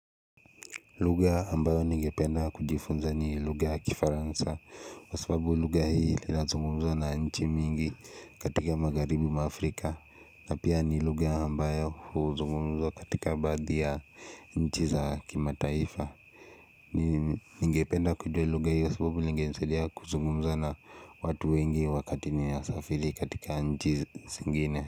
Luga ambayo ningependa kujifunza ni luga kifaransa kwa sababu luga hii linazungumzwa na nchi mingi katika magaribi mwa afrika na pia ni luga ambayo huzungumzwa katika badhi ya nchi za kima taifa Ningependa kujua luga hii kwa sababu ingenisaidia kuzungumza na watu wengi wakati ni na safiri katika nchi zingine.